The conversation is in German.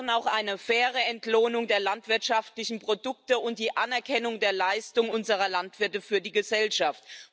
Wir brauchen auch eine faire Entlohnung der landwirtschaftlichen Produkte und die Anerkennung der Leistung unserer Landwirte für die Gesellschaft.